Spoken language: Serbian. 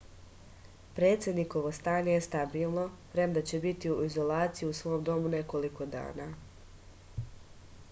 predsednikovo stanje je stabilno premda će biti u izolaciji u svom domu nekoliko dana